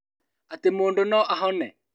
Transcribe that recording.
Atĩ mũndũ no ahone